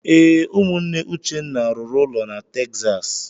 Ee, ụmụnne Uchenna rụrụ ụlọ na Texas.